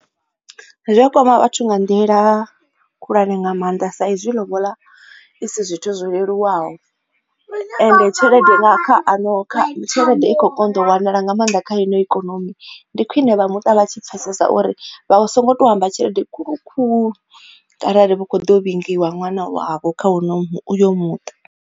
Zwi a kwama vhathu nga nḓila khulwane nga maanḓa sa izwi lobola i si zwithu zwo leluwaho ende tshelede kha ano tshelede i kho u konḓa u wanala nga maanḓa kha ino ikonomi. Ndi khwine vha muṱa vha tshi pfesesa uri vha vha so ngo to u amba tshelede khulu khuhu kharali hu kho u ḓo vhingiwa ṅwana wavho kha hu uno uyo muṱa.